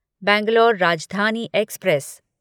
Bangalore Rajdhani express